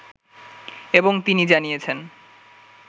এবং তিনি জানিয়েছেন